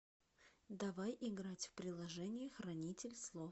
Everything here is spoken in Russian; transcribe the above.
давай играть в приложение хранитель слов